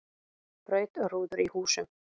Braut rúður í húsum